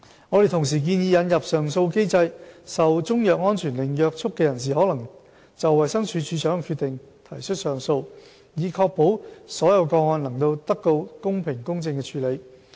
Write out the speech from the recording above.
我們同時建議引入上訴機制，受中藥安全令約束的人士可就衞生署署長的決定提出上訴，以確保所有個案能得到公平公正的處理。